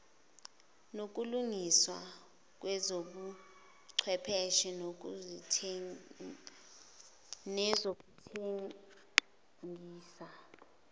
nokulungiswa kwezobuchwepheshe nezokuthengisa